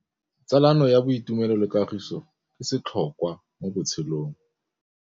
Tsalano ya boitumelo le kagiso ke setlhôkwa mo botshelong.